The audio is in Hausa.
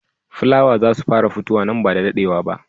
Fula wow I za su fara futuwa nan ba da daɗewa ba.